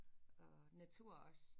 Og natur også